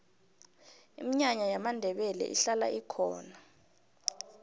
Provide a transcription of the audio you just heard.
iminyanya yamandebele ihlala ikhona